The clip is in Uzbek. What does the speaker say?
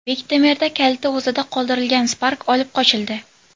Bektemirda kaliti o‘zida qoldirilgan Spark olib qochildi.